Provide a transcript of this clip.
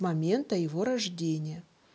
момента его рождения